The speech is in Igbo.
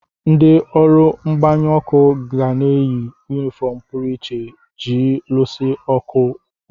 Ndị ọrụ mgbanyụ ọkụ ga-eyi yunifọọm pụrụ iche iji luso ọkụ ọgụ.